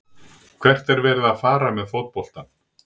Hvert er verið að fara með fótboltann?